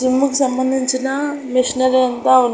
జిమ్ముకు సంబంధించిన మిషనరీ అంతా ఉన్--